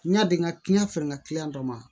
N ya di n ka fɛɛrɛ ka dɔ ma